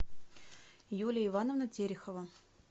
юлия ивановна терехова